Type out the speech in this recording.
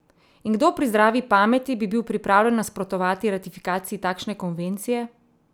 In kdo pri zdravi pameti bi bil pripravljen nasprotovati ratifikaciji takšne konvencije?